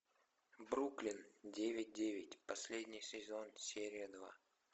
бруклин девять девять последний сезон серия два